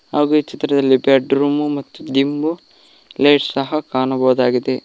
ಹಾಗೆ ಚಿತ್ರದಲ್ಲಿ ಬೆಡ್ರೂಮ್ ಮತ್ತು ದಿಮ್ಮ ಲೈಟ್ ಸಹ ಕಾಣುವುದಾಗಿದೆ.